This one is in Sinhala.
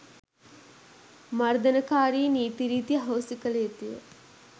මර්දනකාරී නීති රීති අහෝසි කළ යුතුය